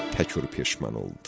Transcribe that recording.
Təkur peşman oldu.